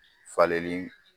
Falenli